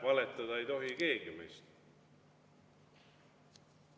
Valetada ei tohi keegi meist.